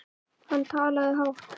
Hann talaði hátt.